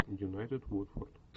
юнайтед уотфорд